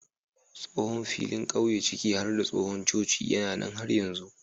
Tsohon filin ƙauye ciki har da tsohon coci yana nan har yanzu.